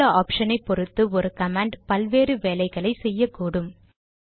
குறித்துள்ள ஆப்ஷனை பொறுத்து ஒரு கமாண்ட் பல்வேறு வேலைகளை செய்யக்கூடும்